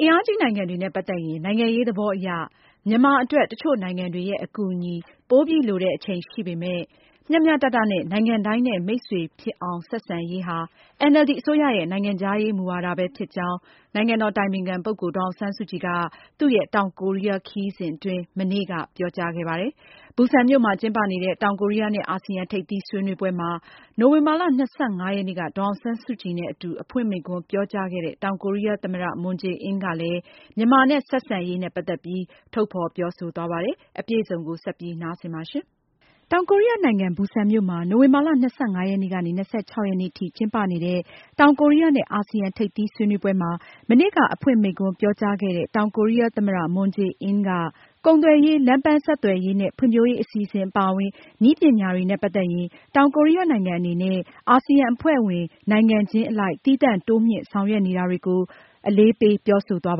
အင်အားကြီးနိုင်ငံတွေနဲ့ ပတ်သက်ရင် နိုင်ငံရေးသဘောအရ မြန်မာအတွက် တချို့နိုင်ငံတွေရဲ့ အကူအညီကို ပိုပြီးလိုတဲ့အချိန်ရှိပေမယ့် မျှမျှတတနဲ့ နိုင်ငံတိုင်းနဲ့ မိတ်ဆွေဖြစ်အောင် ဆက်ဆံရေးဟာ NLD အစိုးရရဲ့ နိုင်ငံခြားရေးမူဝါဒဖြစ်ကြောင်း နိုင်ငံတော်အတိုင်ပင်ခံပုဂ္ဂိုလ် ဒေါ်အောင်ဆန်းစုကြည်က တောင်ကိုရီးယား ခရီးစဉ်အတွင်း တနင်္လာနေ့က ပြောကြားခဲ့ပါတယ်။ ဘူဆန်မြို့မှာကျင်းပနေတဲ့ တောင်ကိုရီးယားနဲ့အာဆီယံ ထိပ်သီးဆွေးနွေးပွဲမှာ နိုဝင်ဘာလ ၂၅ ရက်နေ့က ဒေါ်အောင်ဆန်းစုကြည်နဲ့ အတူ အဖွင့်မိန့်ခွန်းပြောကြားခဲ့တဲ့ တောင်ကိုရီးယားသမ္မတ Moon Jae-in ကလည်း မြန်မာနဲ့ ဆက်ဆံရေးမှာ သိပ္ပံနဲ့ နည်းပညာကဏ္ဍာမှာပါ တိုးချဲ့ ဆောင်ရွက်နေကြောင်း ထုတ်ဖေါ်ပြောဆိုခဲ့ပါတယ်။ မအင်ကြင်းနိုင်က အပြည့်အစုံကို ဆက်လက်တင်ပြမှာပါ။ တောင်ကိုရီးယားနိုင်ငံ ဘူဆန်မြို့မှာ နိုဝင်ဘာလ ၂၅-၂၆ ရက်နေ့ထိ ကျင်းပနေတဲ့ တောင်ကိုရီးယားနဲ့ အာဆီယံ ထိပ်သီးဆွေးနွေးပွဲမှာ မနေ့က အဖွင့်မိန့်ခွန်းပြောကြားခဲ့တဲ့ တောင်ကိုရီးယားသမ္မတ Moon Jae-in က ကုန်သွယ်ရေး၊ လမ်းပန်းဆက်သွယ်ရေးနဲ့ ဖွံဖြိုးရေး အစီအစဉ်အပါအဝင် နည်းပညာတွေနဲ့ ပတ်သက်ရင် တောင်ကိုရီးယားနိုင်ငံအနေနဲ့ အာဆီယံအဖွဲ့ဝင်နိုင်ငံချင်း အလိုက် သီးသန့် တိုးမြှင့် ဆောင်ရွက်နေတာတွေကို အလေးပေး ပြောဆိုသွား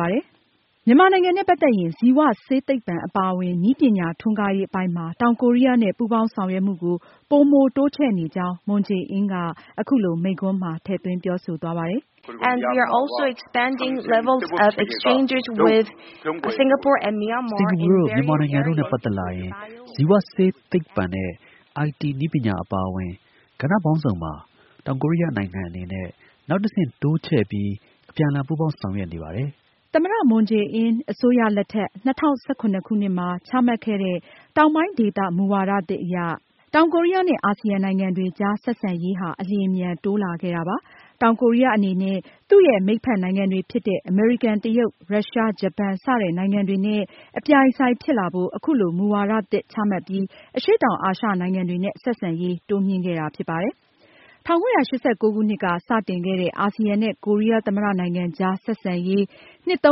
ပါတယ်။ မြန်မာနိုင်ငံနဲ့ပတ်သက်ရင် ဇီဝဆေးသိပ္ပံအပါအဝင် နည်းပညာ ထွန်းကားရေးအပိုင်းမှာ တောင်ကိုးရီးယားနဲ့ ပူပေါင်းဆောင်ရွက်မှုကို ပိုမိုတိုးချဲ့နေကြောင်း Moon Jae-in က အခုလို သူ့မိန်းခွန်းမှာ ထည့်သွင်းပြောဆိုသွားပါတယ်။ “စင်္ကာပူ၊ မြန်မာ နိုင်ငံတွေနဲ့ပတ်သက်ရင် ဇီဝဆေးသိပ္ပံနဲ့ IT နည်းပညာ အပါအဝင် ကဏ္ဍပေါင်းစုံမှာ တောင်ကိုရီးယားနိုင်ငံအနေနဲ့ နောက်တဆင့် တိုးချဲ့ပြီး အပြန်အလှန် ပူးပေါင်းဆောင်ရွက်နေပါတယ်။” သမ္မတ Moon Jae-in အစိုးရလက်ထက် ၂၀၁၇ခုနှစ်မှာ ချမှတ်ခဲ့တဲ့ တောင်ပိုင်းဒေသမူဝါသစ်အရ တောင်ကိုရီးယားနဲ့ အာဆီယံနိုင်ငံတွေကြားဆက်ဆံရေးဟာ အလျင်အမြန်တိုးလာခဲ့တာပါ။ တောင်ကိုးရီးယားအနေနဲ့ သူရဲ့ မိတ်ဖက်နိုင်ငံတွေဖြစ်တဲ့ အမေရိကန်၊ တရုတ်၊ ရုရှား၊ ဂျပန် စတဲ့နိုင်ငံတွေနဲ့ အပြိုင်အဆိုင်ဖြစ်လာဖို့ အခုလို မူဝါဒသစ်ချမှတ်ပြီး အရှေ့တောင်အာရှနိုင်ငံတွေနဲ့ ဆက်ဆံရေးတိုးမြှင့်ခဲ့တာဖြစ်ပါတယ်။ ၁၉၈၉ ခုနှစ်က စတင်ခဲ့တဲ့ အာဆီယံနဲ့ ကိုရီးယားသမ္မတနိုင်ငံ ကြားဆက်ဆံရေး နှစ် ပြ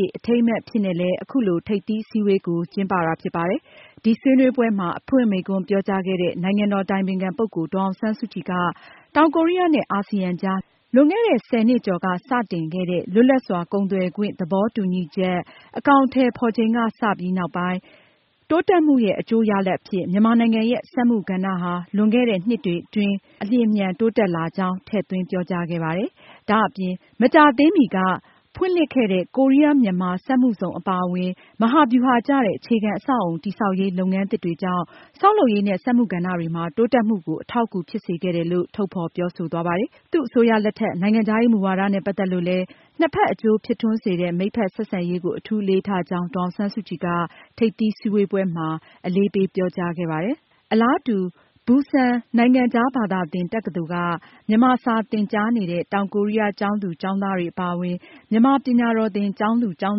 ည့် အထိမ်းအမှတ်အဖြစ်နဲ့လည်း အခုလို ထိပ်သီးအစည်းအဝေးကို ကျင်းပတာဖြစ်ပါတယ်။ ဒီဆွေးနွေးပွဲမှာ အဖွင့်မိန့်ခွန်းပြောကြားခဲ့တဲ့ နိုင်ငံတော်အတိုင်ပင်ခံ ပုဂ္ဂိုလ် ဒေါ်အောင်ဆန်းစုကြည်က တောင်ကိုရီးယားနဲ့ အာဆီယံကြား လွန်ခဲ့တဲ့ ဆယ်နှစ်ကျော်က စတင်ခဲ့တဲ့ လွတ်လပ်စွာကုန်သွယ်ခွင့် သဘောတူညီချက် အကောင်အထည်ဖေါ်ချိန်ကစပြီးနောက်ပိုင်း တိုးတက်မှုရဲ့ အကျိုးရလဒ်အဖြစ် မြန်မာနိုင်ငံရဲ့ စက်မှုကဏ္ဍ လွန်ခဲ့တဲ့နှစ်တွေအတွင်း အလျင်အမြန်တိုးတက်လာကြောင်း ထည့်သွင်းပြောကြားခဲ့ပါတယ်။ ဒါအပြင် မကြာသေးမီက ဖွင့်လှစ်ခဲ့တဲ့ ကိုးရီးယား-မြန်မာစက်မှုဇုံအပါအဝင် မဟာဗျူဟာ ကျတဲ့ အခြေခံအဆောက်အအုံ တည်ဆောက်ရေး လုပ်ငန်းသစ်တွေကြောင့် ဆောက်လုပ်ရေးနဲ့ စက်မှု ကဏ္ဍတွေမှာ တိုးတက်မှုကို အထောက်အကူဖြစ်စေခဲ့တယ်လို့ သူက ထုတ်ဖေါ်ပြောဆိုသွားပါတယ်။ သူ့အစိုးရလက်ထက် နိုင်ငံခြားရေးမူဝါဒနဲ့ ပတ်သက်လို့လည်း နှစ်ဖက်အကျိုးဖြစ်ထွန်းစေတဲ့ မိတ်ဖက် ဆက်ဆံရေးကို အထူးအလေးထားကြောင်း ဒေါ်အောင်ဆန်းစုကြည်က ထိပ်သီးစည်းဝေးပွဲ အဖွင့်မိန့်ခွန်းမှာ အလေးပေးပြောကြားခဲ့ပါတယ်။ အလားတူ ဘူဆန်နိုင်ငံခြားဘာသာသင် တက္ကသိုလ်က မြန်မာစာသင်ကြားနေတဲ့ တောင်ကိုးရီးယားကျောင်းသူ၊ ကျောင်းသားတွေအပါအဝင် မြန်မာပညာတော်သင် ကျောင်းသူ၊ ကျောင်း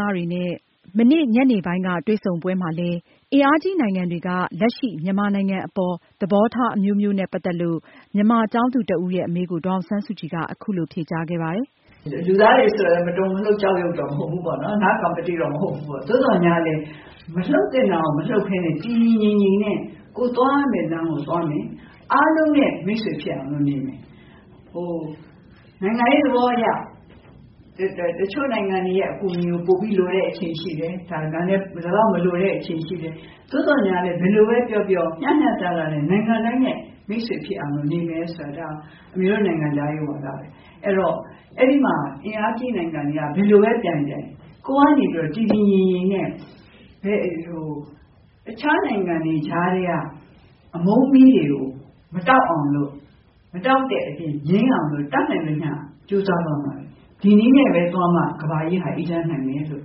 သားတွေနဲ့ မနေ့ တနင်္လာနေ့ ညနေပိုင်း တွေ့ဆုံပွဲမှာလည်း အင်အားကြီးနိုင်ငံတွေက လက်ရှိ မြန်မာနိုင်ငံအပေါ် သဘောထားအမျိုးမျိုးနဲ့ ပတ်သက်လို့ မြန်မာကျောင်းသူတဦးရဲ့ အမေးကို ဒေါ်အောင်ဆန်းစုကြည်က အခုလို ဖြေကြားခဲ့ပါတယ်။ “ လူသားတွေဆိုတော့ မတုန်မလှုပ် ကျောက်ရုပ်တော့ မဟုတ်ဘူးပေါ့နော်။ သို့သော်လည်း မလှုပ်သင့်တာကို မလှုပ်ပဲနဲ့ တည်တည်ငြိမ်ငြိမ်နဲ့ ကိုယ်သွားရမယ့်လမ်းကို သွားမယ် အားလုံးနဲ့ မိတ်ဆွေဖြစ်အောင်တော့ နေမယ်။ နိုင်ငံရေးသဘောအရ တချို့နိုင်ငံတွေရဲ့ အကူအညီကို လိုတဲ့အချိန်ရှိတယ်၊ ဒီလောက်မလိုတဲ့ အချိန်ရှိတယ်။ သို့သော် ဘယ်လိုပဲပြောပြော မျှမျှတတနဲ့ နိုင်ငံတိုင်းနဲ့ မိတ်ဆွေဖြစ်အောင်တော့ နေမယ်ဆိုတာက အမေတို့ နိုင်ငံခြားရေးမူဝါဒတွေ ။ အဲဒီတော့ အဲဒီမှာ အင်အားကြီးနိုင်ငံတွေက ဘယ်လိုပဲ ပြိုင်ပြိုင် ကိုယ်ကနေပြီးတော့ တည်တည်ငြိမ်ငြိမ်နဲ့ တခြားနိုင်ငံတွေ ကြားထဲက အမုန်းမီးတွေကို မတောက်အောင်လို့ ၊ မတောက်တဲ့အပြင် ငြိမ်းအောင်လို့ တတ်နိုင်သမျှကြိုးစားသွားမယ်။ ဒီနည်းနဲ့ပဲ သွားမှ ကမ္ဘာကြီးဟာ အေးချမ်းမယ်လို့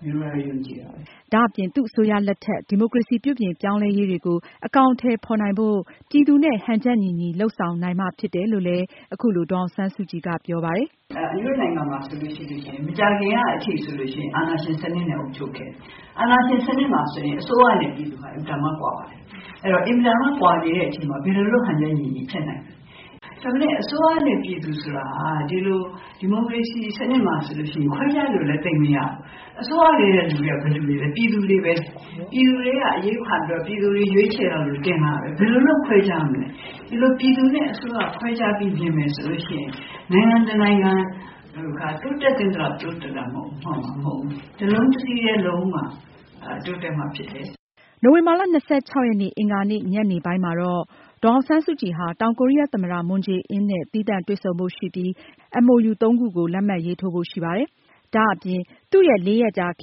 အမေယုံကြည်တယ်။” ဒါအပြင် သူအစိုးရလက်ထက် ဒီမိုကရေစီပြုပြင်ပြောင်းလဲရေးတွေကို အကောင်အထည်ဖေါ်နိုင်ဖို့ ပြည်သူနဲ့ ဟန်ချက်ညီညီလုပ်ဆောင်နိုင်မှ ဖြစ်မယ်လို့ အခုလို ဒေါ်အောင်ဆန်းစုကြည်က ပြောပါတယ်။ “အမေတို့နိုင်ငံမှာဆိုရင် မကြာခင်ကအထိ အာဏာရှင်စနစ်နဲ့ အုပ်ချုပ်ခဲ့တယ်။ အာဏာရှင်စနစ်မှာဆိုရင် အစိုးရနဲ့ ပြည်သူက အင်မတန်မှ ကွာပါတယ်။ အင်မတန်မှ ကွာနေတဲ့အချိန်မှာ ဘယ်လုပ်လို့ ဟန်ချက်ညီညီ ဖြစ်နိုင်မလဲ ၊ ဒါပေမယ့် အစိုးရနဲ့ ပြည်သူဆိုတာက ဒီလို ဒီမိုကရေစီစနစ်မှာဆိုရင် ခွဲခြားလို့လည်း သိပ်မရဘူး။ အစိုးရလူတွေက ဘယ်သူတွေလဲ ပြည်သူတွေပဲလေ ၊ ပြည်သူတွေထဲက အရွေးခံပြီးတော့ ပြည်သူတွေ ရွေးချယ်ပြီး တင်လိုက်လို့ ဘယ်လိုလို့ ခွဲခြားမလဲ ။ ဒီလိုပြည်သူနဲ့ အစိုးရ ခွဲခြားပြီး မြင်မယ်ဆိုရင် နိုင်ငံတနိုင်ငံက တိုးတက်သင့်သလောက် တိုးတက်မှာမဟုတ်ဘူး။ တလုံးတစည်းထဲ လုပ်မှ တိုးတက်မှာဖြစ်တယ်။” နိုဝင်ဘာလ ရက်နေ့ အင်္ဂါနေ့ ညနေပိုင်းမှာတော့ ဒေါ်အောင်ဆန်းစုကြည် ဟာ တောင်ကိုရီးယား သမ္မတ Moon Jae-in နဲ့ သီးသန့်တွေ့ဆုံဖို့ရှိပြီး နှစ်နိုင်ငံနားလည်မှုစာချွန်လွှာ MOU ၃ ခု လက်မှတ်ရေးထိုးဖို့ရှိပါတယ်။ ဒါအပြင် သူရဲ့ လေးရက်ကြာခ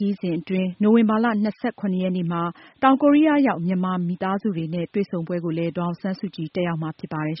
ရီးစဉ်အတွင်း နိုဝင်ဘာလ ရက်နေ့မှာ တောင်ကိုရီးယားရောက် မြန်မာမိသားစုတွေနဲ့ တွေ့ဆုံပွဲကို ဒေါ်အောင်ဆန်းစုကြည် တက်ရောက်မှာဖြစ်ပါတယ်